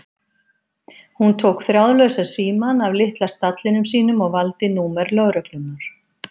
Hún tók þráðlausa símann af litla stallinum sínum og valdi númer lögreglunnar.